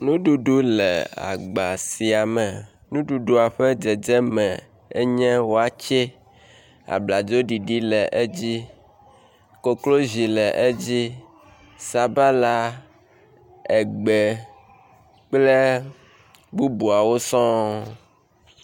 Nuɖuɖu le agba sia me. Nuɖuɖua ƒe dzedzeme enye watsɛ. Abladzoɖiɖi le edzi, koklozi le edzi, sabala, egbe kple bubuawo sɔ.